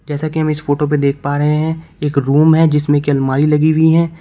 जैसे कि हम इस फोटो पे देख पा रहे हैं एक रूम है जिसमें की अलमारी लगी हुई है।